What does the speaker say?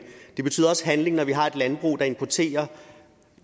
det betyder også handling når vi har et landbrug der importerer